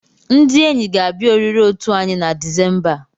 Ndị enyi ga-abịa oriri otu anyị na Disemba a.